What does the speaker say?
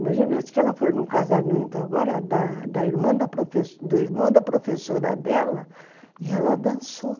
Imagina, acho que ela foi num casamento agora, da da o irmão da professora dela, e ela dançou.